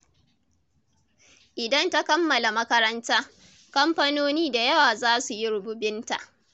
Idan ta kammala makaranta, kamfanoni da yawa za su yi rububinta.